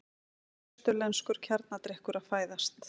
Austurlenskur kjarnadrykkur að fæðast.